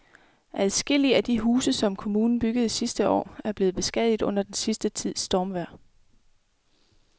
Adskillige af de huse, som kommunen byggede sidste år, er blevet beskadiget under den sidste tids stormvejr.